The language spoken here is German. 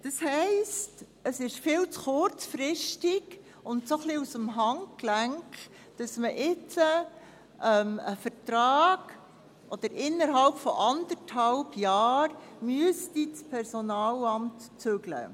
Das heisst, es ist viel zu kurzfristig und ein wenig aus dem Handgelenk, dass man jetzt einen Vertrag – respektive, dass das Personalamt innerhalb von anderthalb Jahren zügeln müsste.